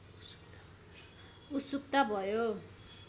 उत्सुकता भयो